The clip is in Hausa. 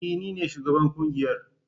E! Ni ne shugaban kungiyar.